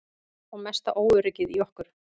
Og mesta óöryggið í okkur.